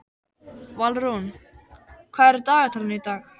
Valrún, hvað er í dagatalinu í dag?